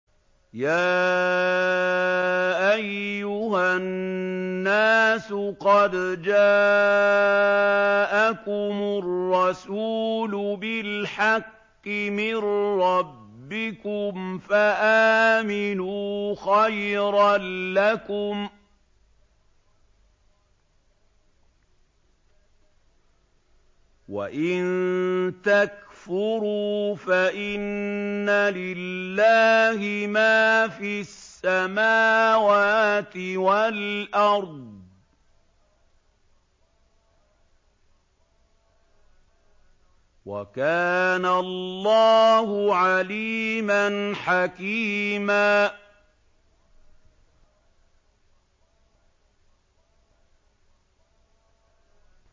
يَا أَيُّهَا النَّاسُ قَدْ جَاءَكُمُ الرَّسُولُ بِالْحَقِّ مِن رَّبِّكُمْ فَآمِنُوا خَيْرًا لَّكُمْ ۚ وَإِن تَكْفُرُوا فَإِنَّ لِلَّهِ مَا فِي السَّمَاوَاتِ وَالْأَرْضِ ۚ وَكَانَ اللَّهُ عَلِيمًا حَكِيمًا